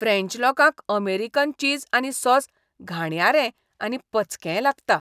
French लोकांक American cheese आनी sauce घाणयारें आनी पचकेंय लागता.